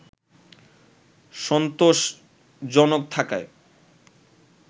সন্তোষজনক থাকায়